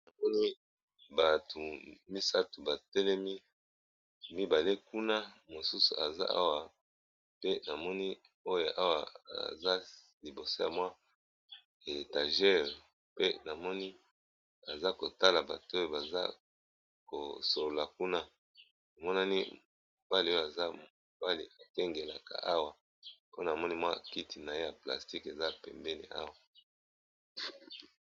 Namoni bato misato batelemi, mibale kuna mosusu aza awa pe na moni oyo awa aza liboso ya mwa étagere pe na moni aza kotala bato oyo baza ko solola kuna emonani mobali oyo aza mobali akengelaka awa mpona namoni mwa kiti naye ya plastique eza pembeni awa.